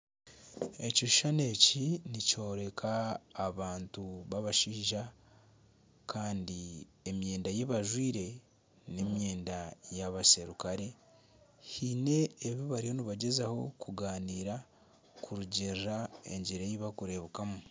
Ekishushani eki nikyooreka abantu babashaija Kandi emyenda eyi bajwaire n'emyenda yabaserukale haine ebi bariyo nibagyezaho kugaanira kurugirira engyeri eyibarikureebekamu.